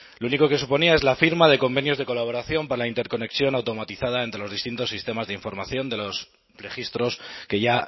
lo único que suponía es la firma de convenios de colaboración para la interconexión automatizada entre los distintos sistemas de información de los registros que ya